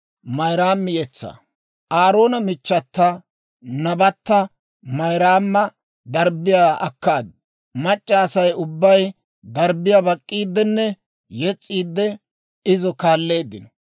Aaroona michchata, nabatta Mayraama darbbiyaa akkaaddu; mac'c'a Asay ubbay darbbiyaa bak'k'iiddenne yes's'iidde izo kaaleeddino.